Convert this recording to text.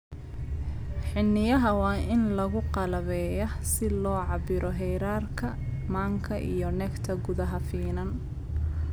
Xiniinyaha waa in lagu qalabeeyaa si loo cabbiro heerarka manka iyo nectar gudaha finan.